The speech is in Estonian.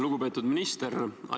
Lugupeetud minister!